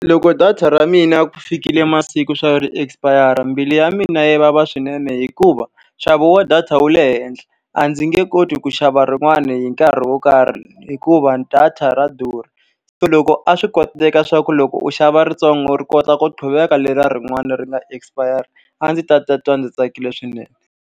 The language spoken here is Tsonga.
Loko data ra mina ku fikile masiku leswaku ri expire-ra mbilu ya mina yi vava swinene hikuva, nxavo wa data wu le henhla. A ndzi nge koti ku xava rin'wana hi nkarhi wo karhi hikuva data ra durha. Se loko a swi koteka leswaku loko u xava ritsongo ri kota ku qhuveka leriya rin'wana ri nga expire-ra, a ndzi ta titwa ndzi tsakile swinene.